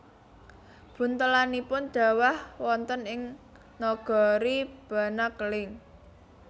Buntelanipun dhawah wonten ing nagari Banakeling